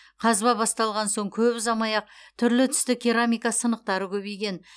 қазба басталған соң көп ұзамай ақ түрлі түсті керамика сынықтары көбейген